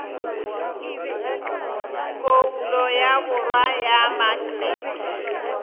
phoulo ya borwa ya maknete